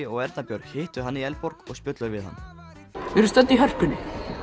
og Erna Björg hittu hann í Eldborg og spjölluðu við hann við erum stödd í Hörpu